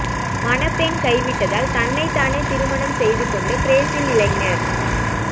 மணப்பெண் கைவிட்டதால் தன்னைத் தானே திருமணம் செய்து கொண்ட பிரேசில் இளைஞர்